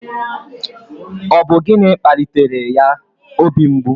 Ọ bụ gịnị kpalitere ya obi mgbu?